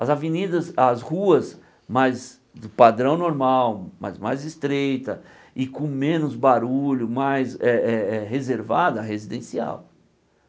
As avenidas, as ruas, mais do padrão normal, mas mais estreitas e com menos barulho, mais eh eh eh reservada, residencial.